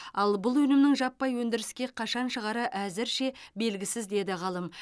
ал бұл өнімнің жаппай өндіріске қашан шығары әзірше белгісіз деді ғалым